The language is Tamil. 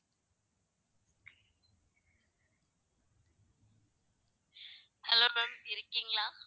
hello ma'am இருக்கீங்களா